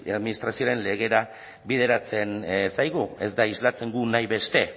administrazioaren legera bideratzen zaigu ez da islatzen du nahi beste